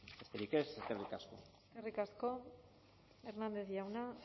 besterik ez eskerrik asko eskerrik asko hernández jauna